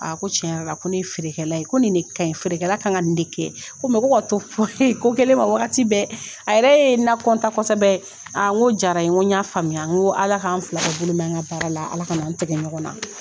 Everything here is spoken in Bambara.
A ko cɛn yɛrɛla ko ne ye feerekɛla ye ko ni de kaɲi feerekɛla kan ka nin de kɛ ko mɛ ko ka to ko kɛlen ma wagati bɛɛ a yɛrɛ ye n na kɔntan kɔsɛbɛ aa n k'o jara n ye n ko n y'a faamuya n ko ala k'an fila bɛɛ bolo mɛɛ an ka baara la ala kan'an tigɛ ɲɔgɔn na